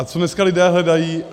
A co dneska lidé hledají?